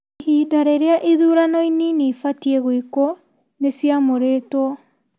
Ihinda rĩrĩa ithurano inini ibatie gwĩkwo nĩ ciamũrĩtwo.